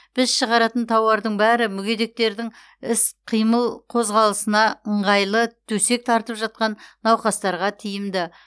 біз шығаратын тауардың бәрі мүгедектердің іс қимыл қозғалысына ыңғайлы төсек тартып жатқан науқастарға тиімді